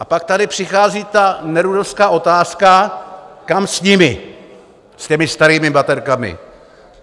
A pak tady přichází ta nerudovská otázka, kam s nimi, s těmi starými baterkami?